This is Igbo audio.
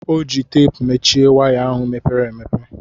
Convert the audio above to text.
Ọ ji teepu mechie waya ahụ mepere emepe.